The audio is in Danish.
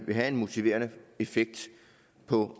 vil have en motiverende effekt på